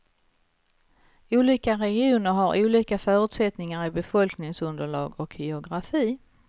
Olika regioner har olika förutsättningar i befolkningsunderlag och geografi.